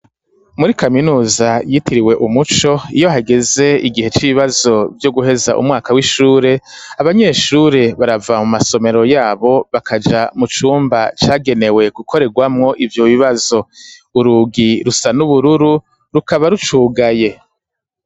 Muri kaminuza yitiriwe umuco iyo hageze igihe c'ibibazo byo guheza umwaka w'ishure abanyeshure barava mu masomero yabo bakaja mu cumba cagenewe gukoregwamwo ivyo bibazo urugi rusa n'ubururu rukaba rucugaye.